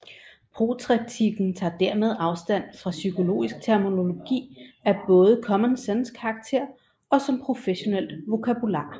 Protreptikken tager dermed afstand fra psykologisk terminologi af både common sense karakter og som professionelt vokabular